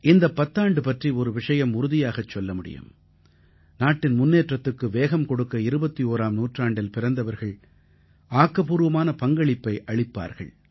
இந்தப் பத்தாண்டு பற்றி ஒரு விஷயம் உறுதியாகச் சொல்ல முடியும் நாட்டின் முன்னேற்றத்துக்கு வேகம் கொடுக்க 21ஆம் நூற்றாண்டில் பிறந்தவர்கள் ஆக்கப்பூர்வமான பங்களிப்பை அளிப்பார்கள்